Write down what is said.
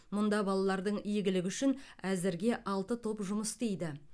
мұнда балалардың игілігі үшін әзірге алты топ жұмыс істейді